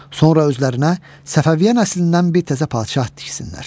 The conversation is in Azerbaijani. Sonra özlərinə Səfəviyyə nəslindən bir təzə padşah tiksinlər.